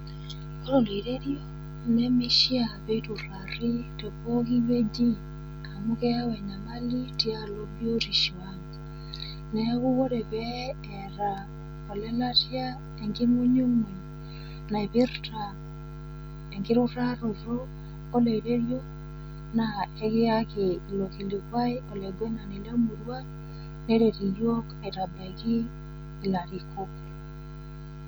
Ore oloirerio, neivaa peiturrari tepooki wueji amu keyau enyamali tialo biotisho ang. Neaku ore pee eata ole latia enking'unyung'uny naipirta enkinukaarato o lererio, naa ekiaki ilo kilikuai olaingwenani le murua neret iyook aitabaiki ilarikok.